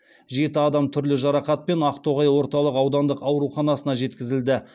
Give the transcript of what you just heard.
жеті адам түрлі жарақатпен ақтоғай орталық аудандық ауруханасына жеткізілді